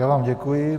Já vám děkuji.